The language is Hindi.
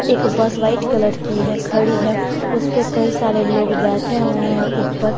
एक बस व्हाइट कलर की है खड़ी है उसपे कई सारे लोग बैठे हुए हैं ऊपर।